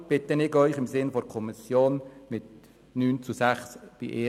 Deshalb bitte ich den Rat, diesen Antrag im Sinne der Kommission abzulehnen.